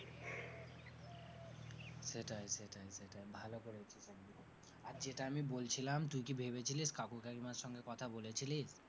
সেটাই সেটাই সেটাই ভালো করেছিস। আর যেটা আমি বলছিলাম তুই কি ভেবেছিলিস, কাকু কাকিমার সঙ্গে কথা বলেছিলিস?